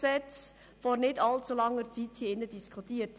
Vor nicht allzu langer Zeit haben wir das StBG in diesem Saal diskutiert.